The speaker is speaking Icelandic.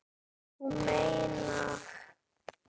Þú meinar!